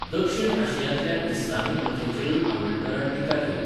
दक्षिण आशियांतल्या इस्लामी प्रथेचेरूय आंबेडकरान टिका केली.